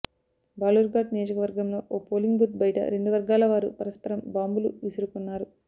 బాలుర్ఘాట్ నియోజకవర్గంలో ఓ polling booth బయట రెండు వర్గాల వారు పరస్పరం బాంబులు విసురుకున్నారు